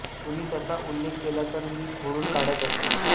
कुणी तसा उल्लेख केला तर मी तो खोडून काढत असे